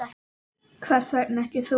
Hvers vegna ekki þú?